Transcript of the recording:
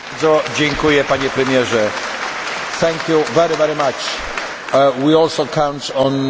We also count on constant discussion and keeping in contact with the Presidency.